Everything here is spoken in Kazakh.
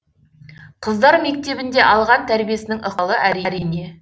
қыздар мектебінде алған тәрбиесінің ықпалы әрине